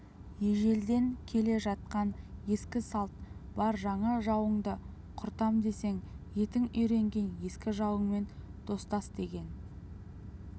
ежелден келе жатқан ескі салт бар жаңа жауыңды құртам десең етің үйренген ескі жауыңмен достасдеген